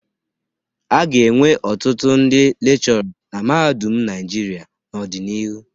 A ga-enwe ọtụtụ ndị lekshọrra na mahadum Naịjirịa n'ọdịnihu.